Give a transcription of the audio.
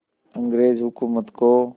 अंग्रेज़ हुकूमत को